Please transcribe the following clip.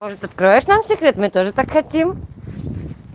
может откроешь нам секрет мы тоже так хотим